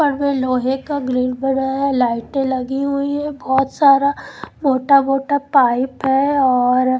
पर वे लोहे का ग्रीन बोर्ड है लाइटे लगे हुई है बोहोत सारा मोटा मोटा पाइप है और --